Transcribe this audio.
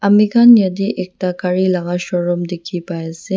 amikhan yatey ekta gari laga showroom dikhi pai ase.